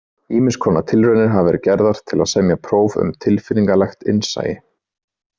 Ýmiss konar tilraunir hafa verið gerðar til að semja próf um tilfinningalegt innsæi.